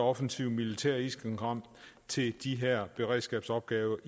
offensivt militært isenkram til de her beredskabsopgaver